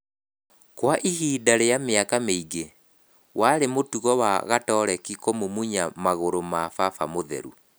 Kwa ihinda rĩa mĩaka mĩingĩ, warĩ mũtugo wa gatoreki kũmumunya magũrũ ma baba mũtheru.